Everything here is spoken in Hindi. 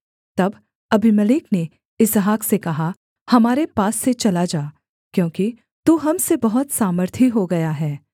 तब अबीमेलेक ने इसहाक से कहा हमारे पास से चला जा क्योंकि तू हम से बहुत सामर्थी हो गया है